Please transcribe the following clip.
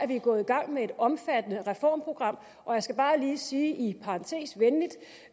vi gået i gang med et omfattende reformprogram og jeg skal bare lige sige i parentes venligt